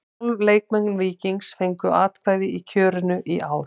Tólf leikmenn Víkings fengu atkvæði í kjörinu í ár.